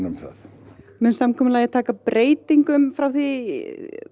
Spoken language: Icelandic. um það mun samkomulagið taka breytingum frá því